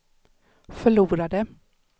förlorade